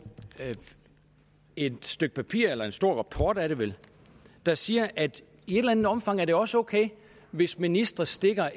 i går et stykke papir eller en stor rapport er det vel der siger at i et eller andet omfang er det også okay hvis ministre stikker